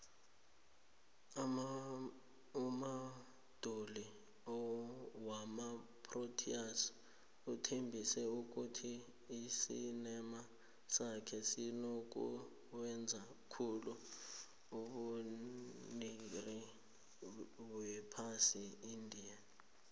umubanduli wamaproteas uthembise ukuthi isicema sakhe sizokuwenza khuhle ebegerini yephasi eindia